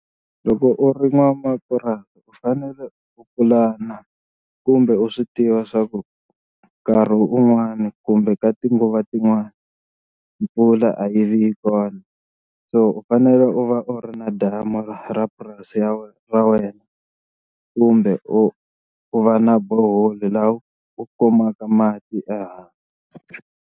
Loko u ri n'wamapurasi u fanele u pulana kumbe u swi tiva swa ku nkarhi un'wani kumbe ka tinguva tin'wani mpfula a yi vi kona, so u fanele u va u ri na damu ra ra purasi ra wena kumbe u u va na borehole laha u kumaka mati ehandle.